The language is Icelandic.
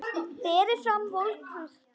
Berið fram volgt.